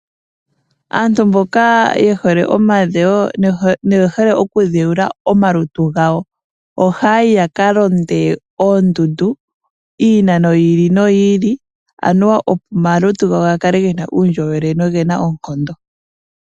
Aantu mboka ye hole omadhewo noye hole okudheula omalutu gawo, ohaayi ya ka londe oondundu iinano yi ili opo omalutu gawo ga kale gena uundjolowele nogena oonkondo.